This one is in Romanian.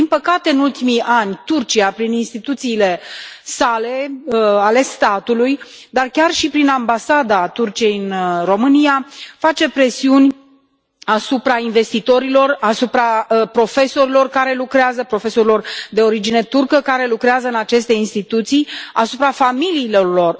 Din păcate, în ultimii ani, Turcia, prin instituțiile sale, ale statului, dar chiar și prin Ambasada Turciei în România face presiuni asupra investitorilor, asupra profesorilor de origine turcă care lucrează în aceste instituții, asupra familiilor lor.